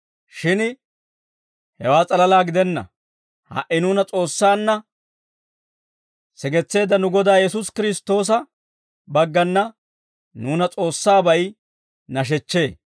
Shin hewaa s'alalaa gidenna; ha"i nuuna S'oossaanna sigetseedda nu Godaa Yesuusi Kiristtoosa baggana nuuna S'oossaabay nashechchee.